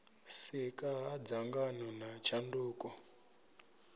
sika ha dzangano na tshanduko